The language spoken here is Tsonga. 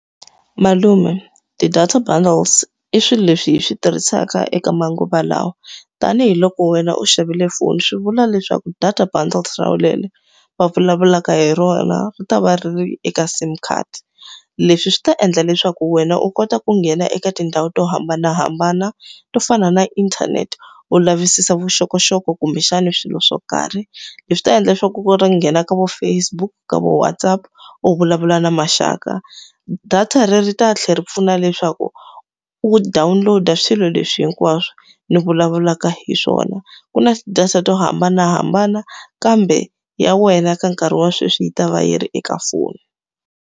Malume, ti-data bundles i swilo leswi hi swi tirhisaka eka manguva lawa. Tanihi loko wena u xavile foni swi vula leswaku data bundles va vulavulaka hi rona, ri ta va ri ri eka SIM card. Leswi swi ta endla leswaku wena u kota ku nghena eka tindhawu to hambanahambana, to fana na inthanete u lavisisa vuxokoxoko kumbexani swilo swo karhi. Leswi ta endla leswaku ku nghena ka vo Facebook, ka vo WhatsApp u vulavula na maxaka. Data leri ri ta tlhela ri pfuna leswaku u download-a swilo leswi hinkwaswo ni vulavulaka hi swona. Ku na ti-data to hambanahambana, kambe ya wena ka nkarhi wa sweswi yi ta va yi ri eka foni.